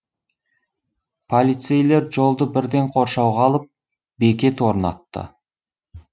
полицейлер жолды бірден қоршауға алып бекет орнатты